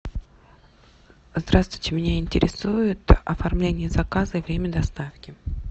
здравствуйте меня интересует оформление заказа и время доставки